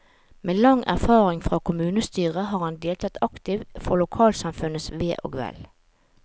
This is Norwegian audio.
Med lang erfaring fra kommunestyre har han deltatt aktivt for lokalsamfunnets ve og vel.